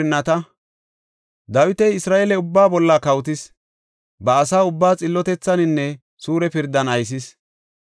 Dawiti Isra7eele ubbaa bolla kawotis; ba asa ubbaa xillotethaninne suure pirdan aysis.